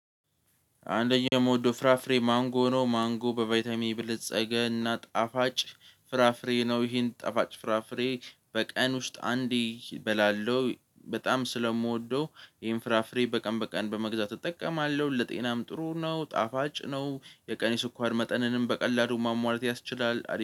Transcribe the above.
አንደኛው የምወደው ፍራፍሬ ማንጎ ነው ማንጎ በቫይታሚን የበለጸገና ጣፋጭ ፍራፍሬ ነው። ይሄን ጠፋጭ ፍራፍሬ በቀን ውስጥ አንዴ እበላለሁ በጣም ስለምወደው ይሄን ፍራፍሬ በቀን በቀን በመግዛት እጠቀማለሁ ለጤናም ጥሩ ነው። ጣፋጭ ነው የቀ ስንኳር መጠንንም በቀላሉ ማሟላት ያስችላል